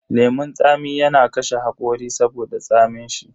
Lemun tsami yana kashe hakori saboda tsamin shi.